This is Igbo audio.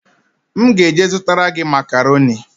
M ga-eje zụtara gị makaroni